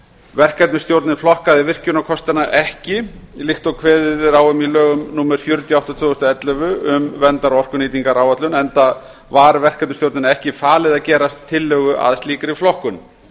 verkefnisstjórnin flokkaði virkjunarkostina ekki líkt og kveðið er á um í lögum númer fjörutíu og átta tvö þúsund og ellefu um verndar og orkunýtaráætlun enda var verkefnastjórninni ekki falið að gera tillögu að slíkri flokkun